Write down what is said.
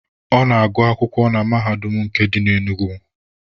Ọ na-agụ akwụkwọ na Mahadum nke dị na Enugu.